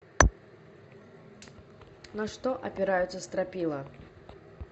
на что опираются стропила